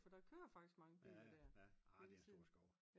For der kører faktisk mange biler der